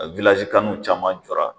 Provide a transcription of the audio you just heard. caman jɔɔra.